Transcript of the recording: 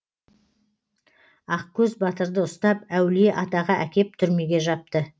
ақкөз батырды ұстап әулие атаға әкеп түрмеге жапты